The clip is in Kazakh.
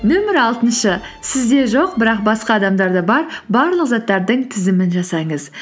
нөмір алтыншы сізде жоқ бірақ басқа адамдарда бар барлық заттардың тізімін жасаңыз